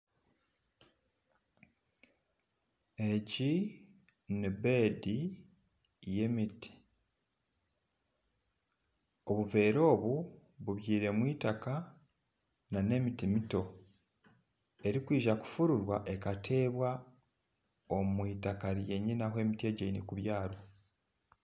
Egi nibed y'emiti obuveera obu bubyairemu itaka nana emiti mito erikwija kufurirwa ekateebwa omwitaka ryenyine ahu emiti egi erikuza kubyarwa